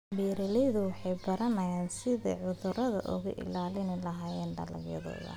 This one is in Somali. Beeraleydu waxay baranayaan sidii ay cudurro uga ilaalin lahaayeen dalagyadooda.